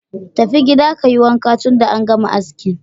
Tafi gida ka yi wanka, tunda an gama asking.